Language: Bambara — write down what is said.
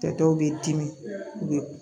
Tɛ dɔw bɛ dimi u bɛ